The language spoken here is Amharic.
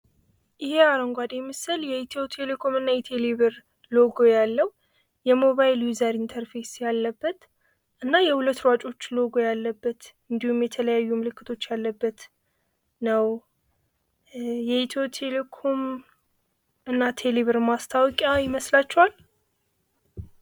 ይህ አረንጓዴ ምስል የኢትዮቴሌኮም እና የቴሌ ብር ሎጎ ያለው የሞባይል ዩዘር ኢንተርፌስ ያለበት እና የሁለት ሯጮች ሎጎ ያለበት እንዲሁም የተለያዩ ምልክቶች ያለበት ነው ። የኢትዮቴሌኮም እና ቴሌብር ማስታወቂያ ይመስላችኋል?